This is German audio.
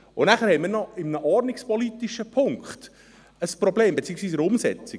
Danach haben wir noch mit einem ordnungspolitischen Punkt ein Problem, beziehungsweise mit der Umsetzung.